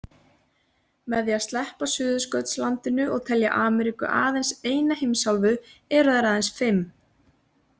Með því að sleppa Suðurskautslandinu og telja Ameríku aðeins eina heimsálfu eru þær aðeins fimm.